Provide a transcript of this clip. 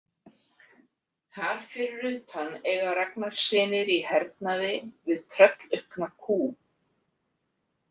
Þar fyrir utan eiga Ragnarssynir í hernaði við tröllaukna kú.